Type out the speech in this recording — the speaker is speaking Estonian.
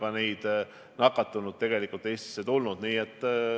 Ja nii on ju ka nakatunud inimesi Eestisse tulnud.